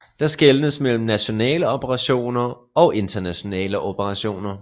Der skelnes mellem nationale operationer og internationale operationer